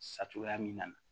Sa cogoya min na